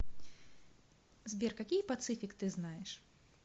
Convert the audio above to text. сбер какие пацифик ты знаешь